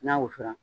N'a wusu la